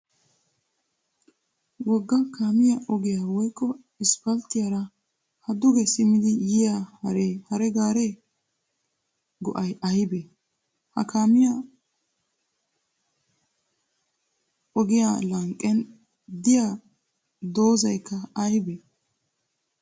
Wogga kaamiya ogiyaa woykko 'isipalttiyaara' ha duge simmidi yiya hare gaariya go'ay ayibee? Ha kaamiya ogmiya lanqqen diya dozzayikka ayibee?